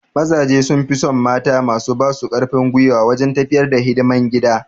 Mazaje sun fi son mata masu ba su karfin gwiwa wajen tafiyar da hidiman gida